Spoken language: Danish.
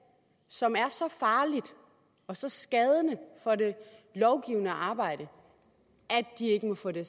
som er så farligt og så skadeligt for det lovgivende arbejde at de ikke må få det